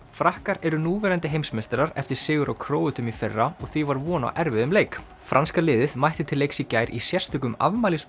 frakkar eru núverandi heimsmeistarar eftir sigur á Króötum í fyrra og því var von á erfiðum leik franska liðið mætti til leiks í gær í sérstökum